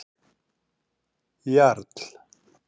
Jarl